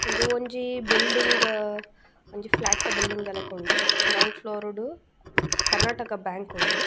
ಉಂದು ಒಂಜಿ ಬಿಲ್ಡಿಂಗ್ ಒಂಜಿ ಫ್ಲ್ಯಾಟ್ ದ ಬಿಲ್ಡಿಂಗ್ ದ ಲಕ ಉಂಡು ಗ್ರೌಂಡ್ ಫ್ಲೋರ್ ಡ್ ಕರ್ನಾಟಕ ಬ್ಯಾಂಕ್ ಉಂಡು.